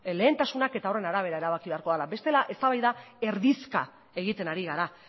lehentasunak eta horren arabera erabaki beharko dela bestela eztabaida erdizka egiten ari gara